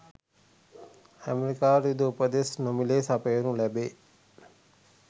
ඇමරිකාවට යුධ උපදෙස් නොමිලේ සපයනු ලැබේ